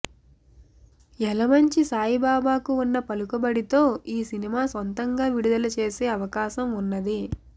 యలమంచి సాయిబాబాకు ఉన్న పలుకుబడితో ఈ సినిమా సొంతంగా విడుదల చేసే అవాకాశం ఉన్నది